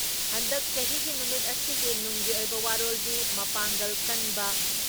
ꯍꯟꯗꯛ ꯆꯍꯤꯒꯤ ꯅꯨꯃꯤꯠ ꯑꯁꯤꯒꯤ ꯅꯨꯡꯒꯤ ꯑꯣꯏꯕ ꯋꯥꯔꯣꯜꯗꯤ ꯃꯄꯥꯡꯒꯜ ꯀꯟꯕ